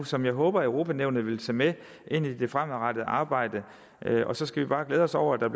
som jeg håber at europa nævnet vil tage med ind i det fremadrettede arbejde og så skal vi bare glæde os over at der